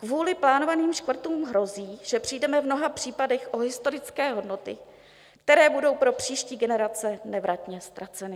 Kvůli plánovaným škrtům hrozí, že přijdeme v mnoha případech o historické hodnoty, které budou pro příští generace nevratně ztraceny.